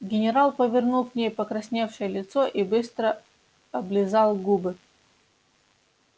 генерал повернул к ней покрасневшее лицо и быстро облизал губы